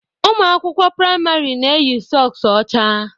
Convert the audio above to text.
Ụmụ akwụkwọ praịmarị na-eyi sọks ọcha